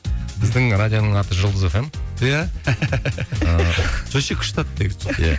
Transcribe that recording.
біздің радионың аты жұлдыз эф эм иә ыыы вообще күшті ат негізі жұлдыз иә